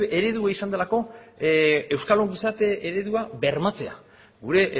eredua izan delako euskal ongizate eredua bermatzea gure